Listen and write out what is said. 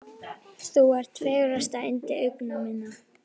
Þú ert fegursta yndi augna minna.